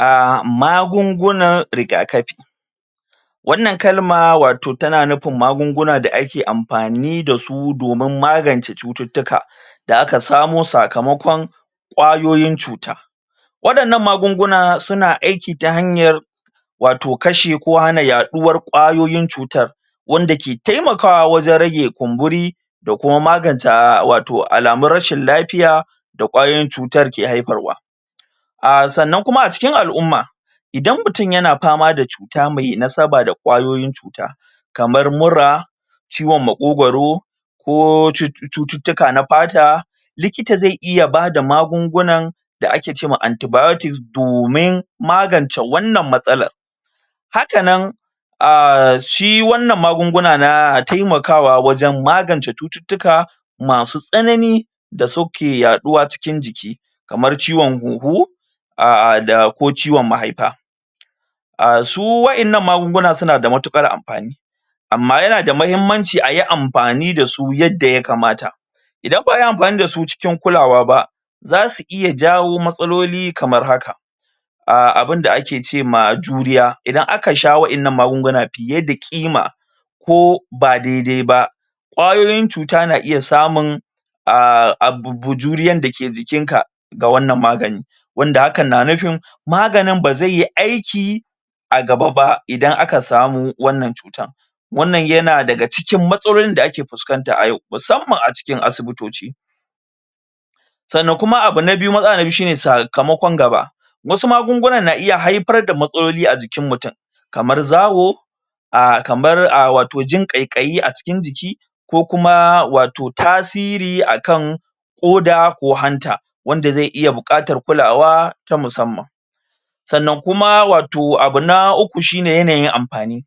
um Magungunan rigakafi wannan kalma wato tana nufin magunguna da ake amfani da su wajen magance cututtuka da aka samo sakamakon ƙwayoyin cuta waannan magunguna suna aiki ta hanyar wato kashe ko hana yaɗuwar ƙwayoyin cutar wanda ke taimakawa wajen rage kumburi da kuma magance wato alamun rashin lafiya da ƙwayoyin cutar ke haifar wa um sannan kuma a cikin al'umma idan mutum yana fama da cuta mai nasaba da kwayoyin cuta kamar mura ciwon maƙogaro ko cututtuka na fata likita zai iya bada magungunan da ake ce ma anti-biotics domin magance wannan matsalan hakanan um shi wannan magunguna na taimakawa wajen magance cututtuka masu tsanani da suke yaɗuwa cikin jiki kamar ciwon huhu um da ko ciwon mahaifa um su waɗannan magunguna suna da matuƙar amfani amma yanada muhimmanci ayi amfani da su yanda ya kamata idan ba ayi amfani da su cikin kulawa ba za su iya jawo matsaloli kamar haka um abin da ake ce ma juriya idan aka sha waɗannan magungunan fiye da ƙima ko ba daidai ba wayoyin cuta na iya samun um abu juriyan da ke jikin ka ga wannan magani wanda hakan na nufin maganin ba zaiyi aiki a gaba ba idan aka samo wannan cuta wannan yana daga cikin matsalolin da ake fuskanta a yau musamman a cikin asibitoci sannan kuma abu na biyu matsala na biyu shine sakamakon gaba wasu magungunan na iya haifar da matsaloli a jikin mutum kamar zawo um kamar a wato jin ƙaikayi a cikin jiki ko kuma wato tasiri akan ƙoda ko hanta wanda zai iya buƙatar kulawa ta musamman sannan kuma wato abu na uku shine yanayin amfani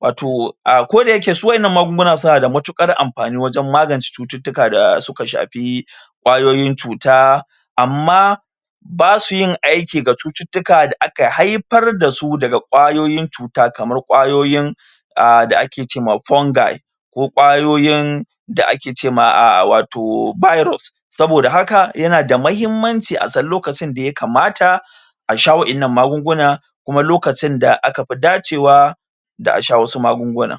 wato a kodayake su waɗannan magunguna suna da matukar amfani wajen magance cututtuka da suka shafi ƙwayoyin cuta amma ba su yin aiki ga cututtuka da aka haifar da su daga kwayoyin cuta kamar kwayoyin um da ake ce ma fungi ko ƙwayoyin da ake ce ma wato virus saboda haka yana da muhimmanci a san lokacin da ya kamata a sha wa'innan magunguna kuma lokacin da aka fi dacewa da asha wasu magungunan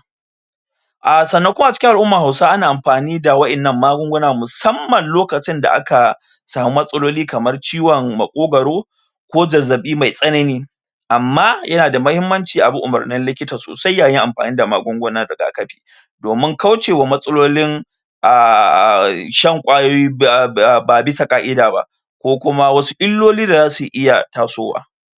um sannan kuma a cikin al'umman hausa ana amfani da wa'innan magunguna musamman lokacin da aka samu matsaloli kaman ciwon maƙogaro ko zazzabi mai tsanani amma yanada muhimmanci a bi umarnin likita sosai yayin amfani da magungunan rigakafi domin kauce wa matsalolin um shan kwayoyi ba ba bisa ƙa'ida ba ko kuma wasu illoli da za su iya tasowa.